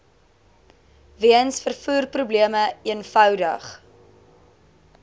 weens vervoerprobleme eenvoudig